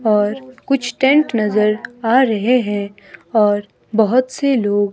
और कुछ टेंट नजर आ रहे हैं और बहोत से लोग--